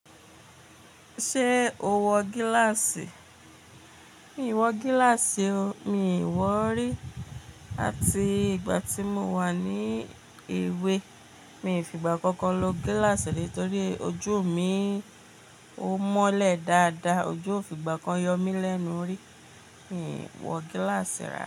Ṣé o wọ gíláàsì? Mi ò wọ gíláàsì o, mi ì wọ rí. Àti ìgbà tí mo wà ní èwe, miì fìgbà kankan lo gíláàsì rí torí ojú mi ó mọ́lẹ̀ dáadáa, ojú ò fìgbà kan yọ mí lẹ́nu rí. Mi ò wọ gíláàsì rárá.